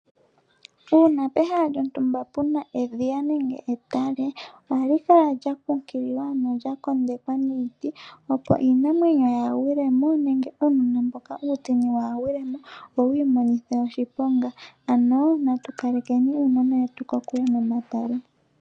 Uuna pehala lyotumba puna edhiya nenge etale ohali kala lyakunkililwa ano lya kondekwa niiti opo iinamwenyo yaagwile mo nenge uunona mboka uutsini waa gwilemo wo wiimonithe oshiponga, ano natu kalekeni uunona wetu kokule nomatale.